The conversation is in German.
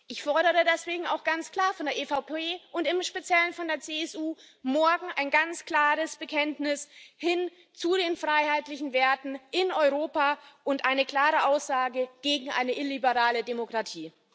Ich fordere deswegen auch ganz klar von der EVP und im speziellen von der CSU morgen ein ganz klares Bekenntnis hin zu den freiheitlichen Werten in Europa und eine klare Aussage gegen eine illiberale Demokratie.